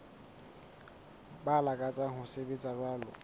ba lakatsang ho sebetsa jwalo